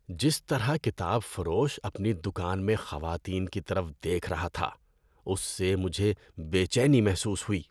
جس طرح سے کتاب فروش اپنی دکان میں خواتین کی طرف دیکھ رہا تھا اس سے مجھے بے چینی محسوس ہوئی۔